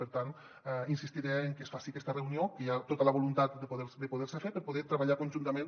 per tant insistiré en que es faci aquesta reunió que hi ha tota la voluntat de poder se fer per poder treballar conjuntament